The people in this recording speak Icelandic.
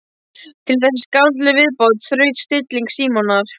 Við þessa skáldlegu viðbót þraut stilling Símonar.